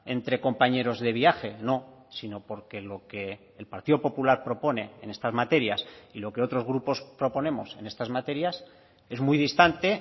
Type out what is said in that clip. entre compañeros de viaje no sino porque lo que el partido popular propone en estas materias y lo que otros grupos proponemos en estas materias es muy distante